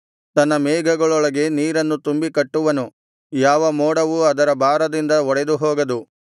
ತನ್ನ ಮೇಘಗಳೊಳಗೆ ನೀರನ್ನು ತುಂಬಿ ಕಟ್ಟುವನು ಯಾವ ಮೋಡವೂ ಅದರ ಭಾರದಿಂದ ಒಡೆದು ಹೋಗದು